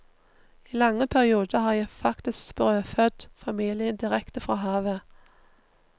I lange perioder har jeg faktisk brødfødd familien direkte fra havet.